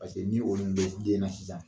Paseke ni y'olu mɛn den na sisan